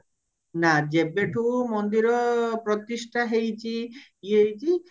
ନା ଯେବେଠୁ ମନ୍ଦିର ପ୍ରତିଷ୍ଟା ହେଇଚି ଇଏ ହେଇଚି